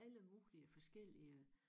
Alle mulige forskellige